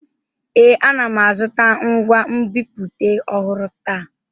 Ee, ana m azụta ngwa nbipute ọhụrụ taa.